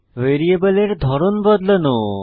ভ্যারিয়েবলের ধরন বদলানো